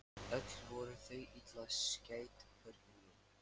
Öll voru þau illa skædd börnin mín.